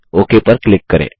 okay पर click करें